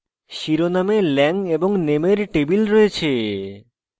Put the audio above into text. শিরোনামে lang এবং name এর table রয়েছে